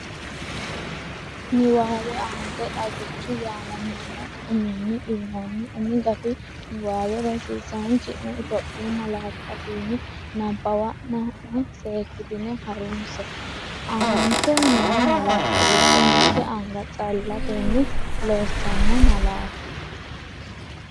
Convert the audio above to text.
Niwaawe Aanete “Xagicho” yaamamanno uminni uyinoonni umi gafi niwaawe rosiisaanchi’ne Itophiyu malaatu afiinni nabbawanna’ne seekkitine ha’runse, Aante noo malaatta giddo mitte anga callatenni loosanno malaati?